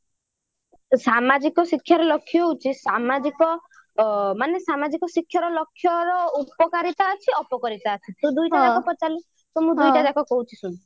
ସାମାଜିକ ଶିକ୍ଷାର ଲକ୍ଷ୍ୟ ହଉଛି ମାନେ ସାମାଜିକ ଶିକ୍ଷାର ଲକ୍ଷ୍ୟର ଉପକାରିତା ଅଛି ଅପକାରିତା ଅଛି ତୁ ଦୁଇଟା ଯାକ ପଚାରିଲୁ ତ ମୁଁ ଦୁଇଟା ଯାକ କହୁଛି ଶୁଣ